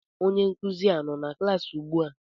Onye nkuzi a nọ na klaasị ugbua?